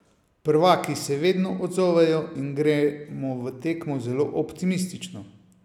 Prvaki se vedno odzovejo in gremo v tekmo zelo optimistično.